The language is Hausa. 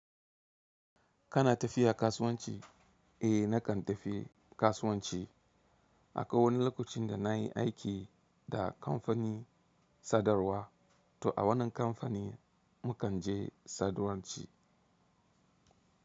Kana tafiya kasuwanci? Eh nakan tafi kasuwanci. Akai wani lokacin da na yi aiki da kamfani sadarwa, to a wannan kamfani mu kan je sadarwa ce.